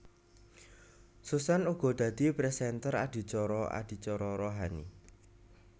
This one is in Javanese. Susan uga dadi présènter adicara adicara rohani